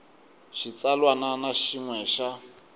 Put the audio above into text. xitsalwana na xin we xa